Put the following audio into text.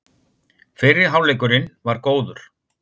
Fyrri hálfleikurinn var góður